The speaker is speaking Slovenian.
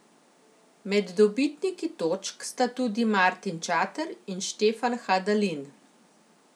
Med dobitniki točk sta tudi Martin Čater in Štefan Hadalin.